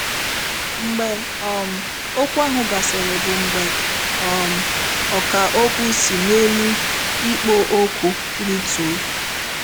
Mgbe um okwu ahụ gasịrị bụ mgbe um ọkà okwu si n’elu ikpo okwu rịtuo.